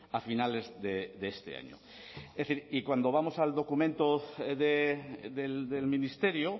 a finales de este año es decir y cuando vamos al documento del ministerio